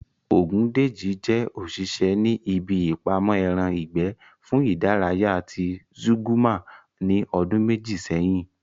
Ògúndèjì jẹ́ òṣìṣẹ́ ní ibi ìpamọ́ ẹran ìgbẹ́ fún ìdárayá ti Zúgúrmà ní ọdún méjì sẹ́yìn